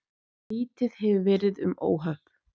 Lítið hefur verið um óhöpp